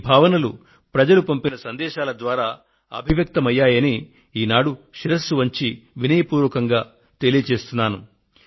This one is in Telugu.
ఈ భావనలు ప్రజలు పంపిన సందేశాల ద్వారా పెల్లుబికాయని ఈనాడు శిరస్సు వంచి మీకు వినయ పూర్వకంగా తెలియజేస్తున్నాను